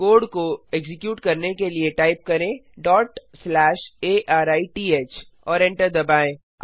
code को execute करने के लिए टाइप करें arith और एंटर दबाएँ